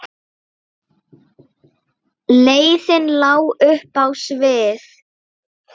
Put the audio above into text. Leiðin lá upp á við.